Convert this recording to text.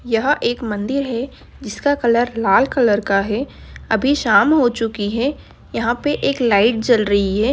यह एक मंदिर है जिसका कलर लाल कलर का है अभी शाम हो चुकी है यहाँ पे एक लाईट जल रही है।